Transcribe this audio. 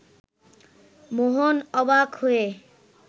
মোহন অবাক হয়ে